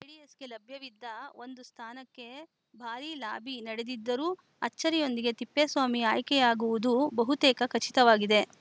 ಜೆಡಿಎಸ್‌ಗೆ ಲಭ್ಯವಿದ್ದ ಒಂದು ಸ್ಥಾನಕ್ಕೆ ಭಾರೀ ಲಾಬಿ ನಡೆದಿದ್ದರೂ ಅಚ್ಚರಿಯೊಂದಿಗೆ ತಿಪ್ಪೇಸ್ವಾಮಿ ಆಯ್ಕೆಯಾಗುವುದು ಬಹುತೇಕ ಖಚಿತವಾಗಿದೆ